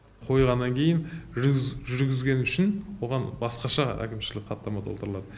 қойғаннан кейін жүргізгені үшін оған басқаша әкімшілік хаттама толтырылады